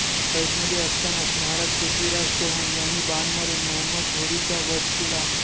कैदेमध्ये असतानाच महाराज पृथ्वीराज चौहान यांनी बाण मारून मोहम्मद घौरीचा वध केला